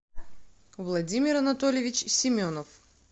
владимир анатольевич семенов